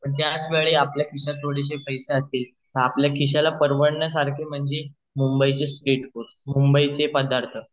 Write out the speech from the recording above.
पण त्याच वेळेत आपल्या खिश्यात थोडेसें पैसे असतील तर आपल्या खिश्याला परवडण्या सारखे म्हणजे मुंबईचे स्ट्रीट फूड मुंबईचे पदार्थ